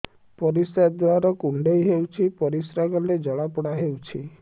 ପରିଶ୍ରା ଦ୍ୱାର କୁଣ୍ଡେଇ ହେଉଚି ପରିଶ୍ରା କଲେ ଜଳାପୋଡା ହେଉଛି